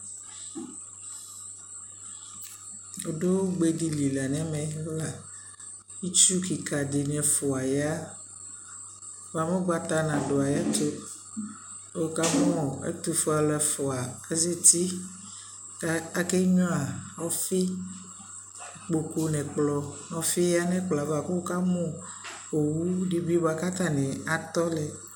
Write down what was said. Adu ugbe dι nι lι la nʋ ɛmɛ la Itsu kika dι nι ɛfua ya bua mɛ ugbata nadʋ ayʋɛtu kʋ wʋkamʋ ɛtufuealʋ ɛfua asɛti kʋ akenyua ɔfi Ikpoku nʋ ɛkplɔ nʋ ɔfi ya nʋ ɛkplɔ yɛ ava kʋ wʋkamu owu dι bι bua kʋ atani atɔ lɛ